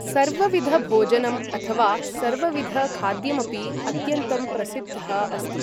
सर्वविधभोजनम् अथवा सर्वविधखाद्यमपि अत्यन्तं प्रसिद्धः अस्ति ।